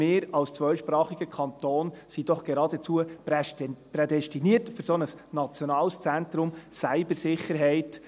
Als zweisprachiger Kanton sind wir doch geradezu prädestiniert für ein solches nationales Cyber-Sicherheits-Zentrum.